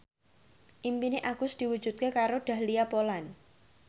impine Agus diwujudke karo Dahlia Poland